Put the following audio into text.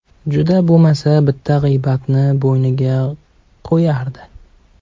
Juda bo‘lmasa bitta g‘iybatni bo‘yniga qo‘yardi.